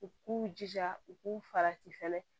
U k'u jija u k'u farati fɛnɛ